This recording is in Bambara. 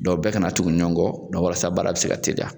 bɛɛ kana tugu ɲɔgɔn kɔ walasa baara bi se ka teliya.